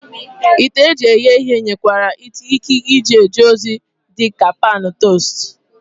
Ite eji eghe ihe nwekwara ike ije ozi dị ka pan tostu